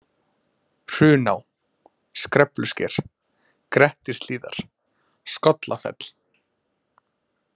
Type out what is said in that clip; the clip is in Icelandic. Hruná, Skreflusker, Grettishlíðar, Skollafell